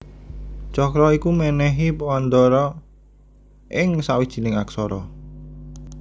Cakra iku mènèhi wanda ra ing sawijining aksara